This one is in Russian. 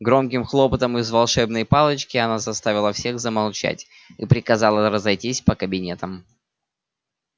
громким хлопатом из волшебной палочки она заставила всех замолчать и приказала разойтись по кабинетам